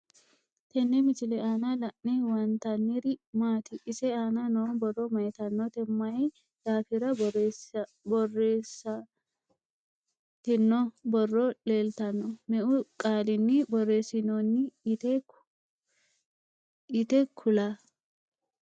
Tenne misile aanna la'ne huwanntaniri maati? ise aanna noo borro mayiittanotte? mayi daaffira borreessanitinno borro leelittanno? Meu qaalinni borreessinoonni yitte kula?